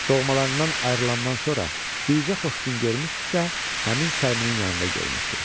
Doğmalarından ayrılandan sonra bircə xoş gün görmüşdüsə, həmin Səlminin yanında görmüşdü.